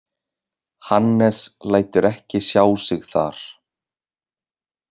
Hannes lætur ekki sjá sig þar.